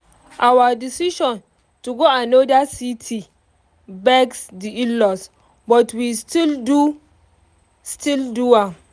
our decision to go another city vex the in-laws but we still do still do am